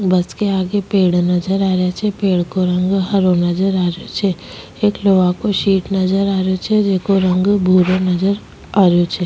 Bus के आगे पेड़ नजर आ रा छे पेड़ को रंग हरो नजर आ रो छे एक लोहा को सीट नजर आरो छ जैको रंग भुरा नजर आ रो छ।